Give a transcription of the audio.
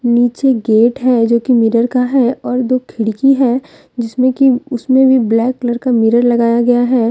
नीचे गेट है जो की मिरर का है और दो खिड़की है जिसमें कि उसमें भी ब्लैक कलर का मिरर लगाया गया है।